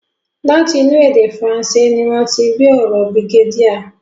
Láti inú èdè Fransé ni wọ́n ti rí ọ̀rọ̀ brigadier.